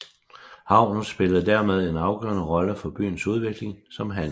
Havnen spillerede dermed en afgørende rolle for byens udvikling som handelsby